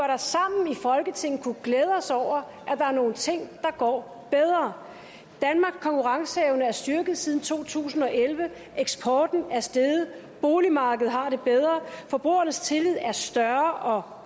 da sammen i folketinget kunne glæde os over at der er nogle ting der går bedre danmarks konkurrenceevne er styrket siden to tusind og elleve eksporten er steget boligmarkedet har det bedre og forbrugernes tillid er større